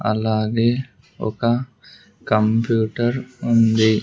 అలాగే ఒక కంప్యూటర్ ఉంది.